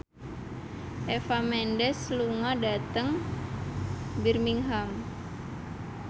Eva Mendes lunga dhateng Birmingham